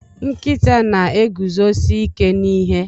Nkịta na-eguzosi ike n'ihe